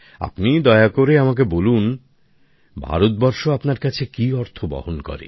আপনি দয়া করে আমাকে বলবেন ভারত বর্ষ আপনার কাছে কী অর্থ বহন করে